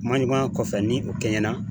Kuma ɲɔgɔnya kɔfɛ ni o kɛɲɛna